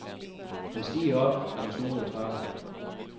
Han stirrer op af den snoede trappe.